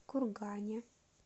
кургане